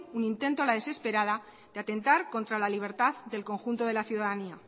un intento a la desesperada de atentar contra la libertad del conjunto de la ciudadanía